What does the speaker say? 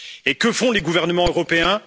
Et que font les gouvernements européens?